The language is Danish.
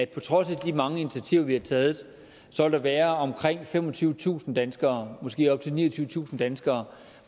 på trods af de mange initiativer vi har taget vil være omkring femogtyvetusind danskere måske op til niogtyvetusind danskere